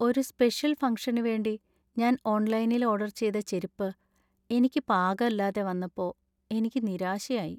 ഒരു സ്പെഷ്യൽ ഫംഗ്ഷന് വേണ്ടി ഞാൻ ഓൺലൈനിൽ ഓർഡർ ചെയ്ത ചെരിപ്പ് എനിക്ക് പാകല്ലാതെ വന്നപ്പോ എനിക്ക് നിരാശയായി .